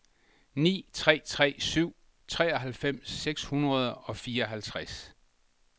ni tre tre syv treoghalvfems seks hundrede og fireoghalvtreds